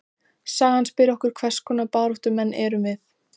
Sagan spyr okkur: hvers konar baráttumenn erum við?